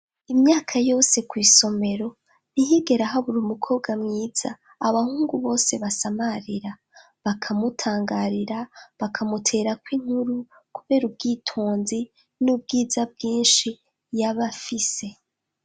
Imyaka yose kw'isomero, ntihigera habura umukobwa mwiza, abahungu bose basamarira. Bakamutangarira, bakamuterako inkuru, kubera ubwitonzi, n'ubwiza bwinshi yaba afise.